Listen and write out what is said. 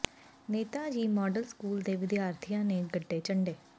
Neta ji model school ਦੇ ਵਿਦਿਆਰਥੀਆਂ ਨੇ ਗੱਡੇ ਝੰਡੇ